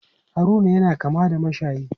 Haruna yana kama da mashayi.